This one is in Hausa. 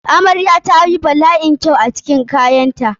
Amrayar ta yi bala'in kyau a cikin kayanta.